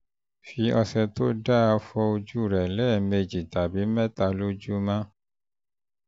fi ọṣẹ tó dáa fọ ojú rẹ lẹ́ẹ̀mejì tàbí mẹ́ta lójúmọ́